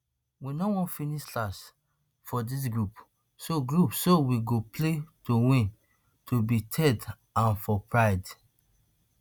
we no wan finish last for di group so group so we go play to win to be third and for pride